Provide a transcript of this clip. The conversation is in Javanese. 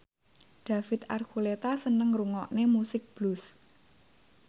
David Archuletta seneng ngrungokne musik blues